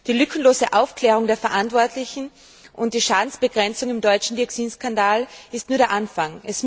Die lückenlose Ermittlung der Verantwortlichen und die Schadensbegrenzung im deutschen Dioxin Skandal sind nur der Anfang.